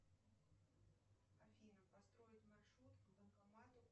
афина построить маршрут к банкомату